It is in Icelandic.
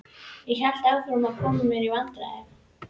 Ég hélt áfram að koma mér í vandræði.